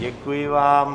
Děkuji vám.